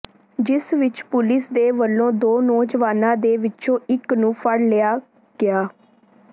ਜਿਸ ਵਿੱਚ ਪੁਲਿਸ ਦੇ ਵੱਲੋਂ ਦੋ ਨੌਜਵਾਨਾਂ ਦੇ ਵਿਚੋਂ ਇੱਕ ਨੂੰ ਫੜ੍ਹ ਲਿਆ ਗਿਆ